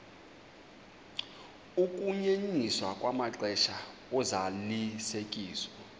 ukunyenyiswa kwamaxesha ozalisekiso